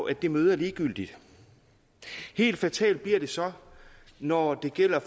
at det møde er ligegyldigt helt fatalt bliver det så når det gælder